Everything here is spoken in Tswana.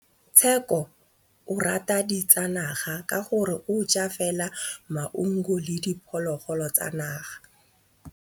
Tshekô o rata ditsanaga ka gore o ja fela maungo le diphologolo tsa naga.